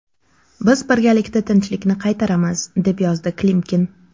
Biz birgalikda tinchlikni qaytaramiz”, deb yozdi Klimkin.